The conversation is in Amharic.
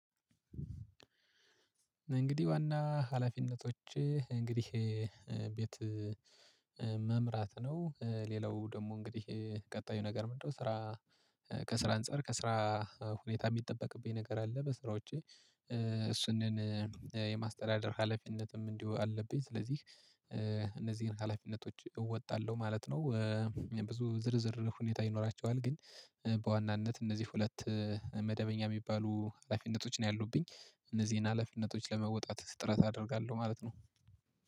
እንግዲህ ዋና ሀላፊነቶች እንግዲህ ይሄ ቤት መምራት ነው። ሌላው ደግሞ እንግዲህ ቀጣዩ ነገር ምንድነው? ስራ ከስራ አንፃር ከስራ ሁኔታ የሚጠበቅብኝ ነገር አለ በሥራዎቼ እሱንን የማስተዳደር ሀላፊነትም እንዲሁ አለብኝ። ስለዚህ እነዚህን ሀላፊነቶች እወጣለሁ ማለት ነው። ብዙ ዝርዝር ሁኔታ ይኖራቸዋል። ግን በዋናነት እነዚህ ሁለት መደበኛ የሚባሉ ሀላፊነቶች ነው ያሉብኝ እነዚህን ሀላፊነቶች ለመወጣት ጥረት አደርጋለሁ ማለት ነው